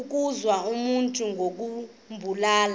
ukuwisa umntu ngokumbulala